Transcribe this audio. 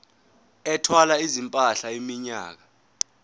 ethwala izimpahla iminyaka